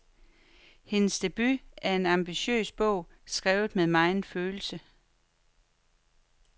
Hendes debut er en ambitiøs bog, skrevet med megen følelse.